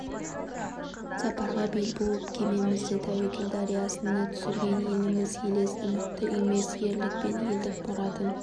сапарға бел буып кемемізді тәуекел дариясына түсірген елміз елес үмітті емес ерлік пен елдік мұратын